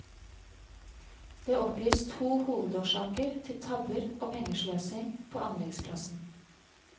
Det oppgis to hovedårsaker til tabber og pengesløsing på anleggsplassen.